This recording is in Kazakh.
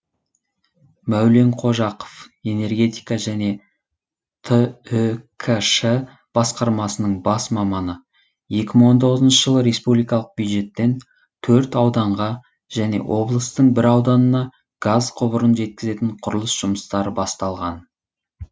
мәулен қожақов энергетика және түкш басқармасының бас маманы екі мың он тоғызыншы жылы республикалық бюджеттен төрт ауданға және облыстың бір ауданына газ құбырын жеткізетін құрылыс жұмыстары басталған